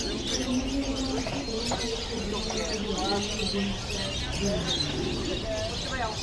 Kuom midhiero mag chike machalo kod ma nyiso jopiny ni gin kod duol.